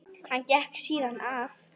Hann gekk síðan að